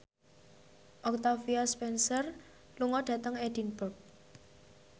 Octavia Spencer lunga dhateng Edinburgh